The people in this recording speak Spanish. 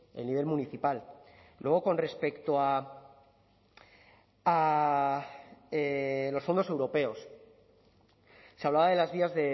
el nivel municipal luego con respecto a los fondos europeos se hablaba de las vías